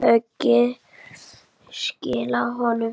Höggið skilaði honum fugli.